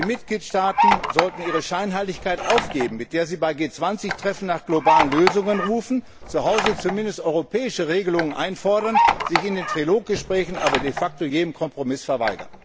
Die Mitgliedstaaten sollten ihre Scheinheiligkeit aufgeben, mit der sie bei G20 Treffen nach globalen Lösungen rufen, zuhause zumindest europäische Regelungen einfordern, sich in den Trilog Gesprächen aber de facto jedem Kompromiss verweigern.